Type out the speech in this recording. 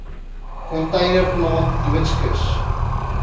container plant doodskis